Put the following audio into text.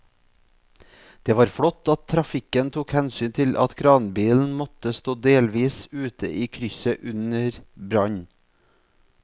Det var flott at trafikken tok hensyn til at kranbilen måtte stå delvis ute i krysset under brannen.